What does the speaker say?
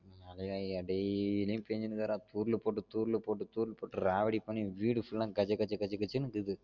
daily யும் பேஞ்சிட்டு இருக்குடா தூறலு போட்டு, தூறலு போட்டு தூறல் போட்டு, ராவடி பன்னி வீடு full ஆ கஜ கஜ கஜ னு இக்குது